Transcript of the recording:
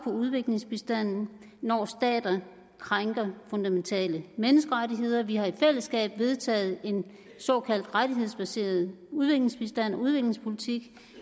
udviklingsbistanden når stater krænker fundamentale menneskerettigheder vi har i fællesskab vedtaget en såkaldt rettighedsbaseret udviklingsbistand og udviklingspolitik